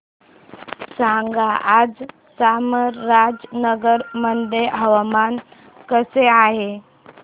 सांगा आज चामराजनगर मध्ये हवामान कसे आहे